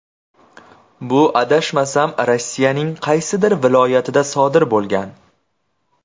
Bu adashmasam Rossiyaning qaysidir viloyatida sodir bo‘lgan.